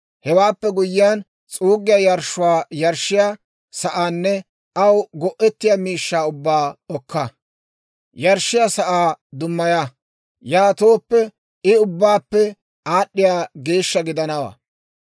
Hewaappe guyyiyaan s'uuggiyaa yarshshuwaa yarshshiyaa sa'aanne aw go'ettiyaa miishshaa ubbaa okka; yarshshiyaa sa'aa dummaya; yaatooppe I ubbaappe aad'd'iyaa geeshsha gidanawaa.